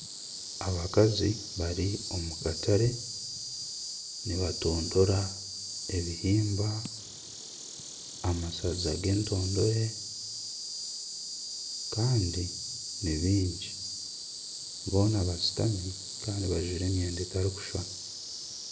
Abakazi bari omukatare nibatondora ebihimba, amashaza g'entondore kandi ni baingi. Boona bashutami kandi bajwire emyenda etarikushushana.